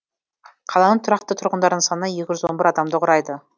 қаланың тұрақты тұрғындарының саны екі жүз он бір адамды құрайды